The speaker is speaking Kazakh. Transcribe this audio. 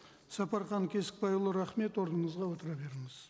сапархан кесікбайұлы рахмет орныңызға отыра беріңіз